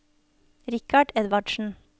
Richard Edvardsen